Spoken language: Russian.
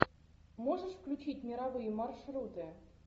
можешь включить мировые маршруты